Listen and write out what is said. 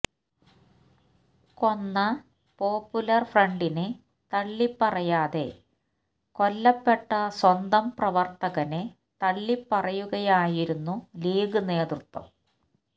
കൊന്ന പോപ്പുലർ ഫ്രണ്ടിനെ തള്ളിപ്പറയാതെ കൊല്ലപ്പെട്ട സ്വന്തം പ്രവർത്തകനെ തള്ളിപ്പറയുകയായിരുന്നു ലീഗ് നേതൃത്വം